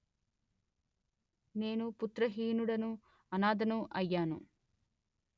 నేను పుత్రహీనుడను అనాధను అయ్యాను